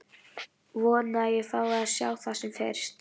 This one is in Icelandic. Vona að ég fái að sjá það sem fyrst.